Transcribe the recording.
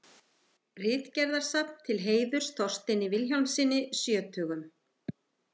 Ritgerðasafn til heiðurs Þorsteini Vilhjálmssyni sjötugum.